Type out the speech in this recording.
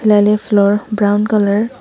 laley floor brown colour .